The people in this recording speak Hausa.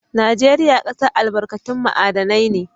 Najeriya ƙasar albarkatun ma'adinai ne.